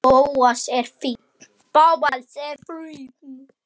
Bóas er fínn.